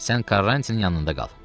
Sən Karançinin yanında qal.